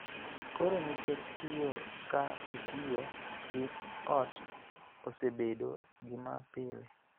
Koro, nikech tiyo ka itiyo gi ot osebedo gima pile,